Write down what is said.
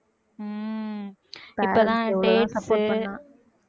உம் இப்பதான் dates உ